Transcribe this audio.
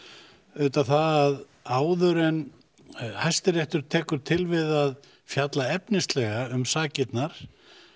auðvitað það að áður en Hæstiréttur tekur til við að fjalla efnislega um sakirnar